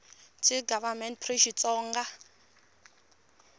ts gov pri xitsonga hl